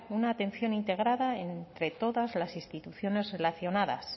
una atención integrada entre todas las instituciones relacionadas